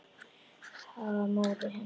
Það var móðir hennar.